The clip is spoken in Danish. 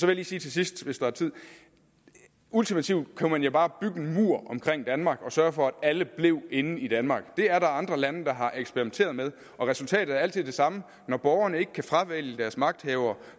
jeg lige sige til sidst hvis der er tid at ultimativt kunne man jo bare bygge en mur omkring danmark og sørge for at alle blev inde i danmark det er der andre lande der har eksperimenteret med og resultatet er altid det samme når borgerne ikke kan fravælge deres magthavere